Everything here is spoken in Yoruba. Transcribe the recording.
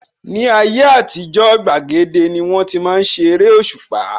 Ní ayé àtijó, gbàgede ní wón ti ń ṣe eréṣùpá